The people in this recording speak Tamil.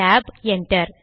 tab enter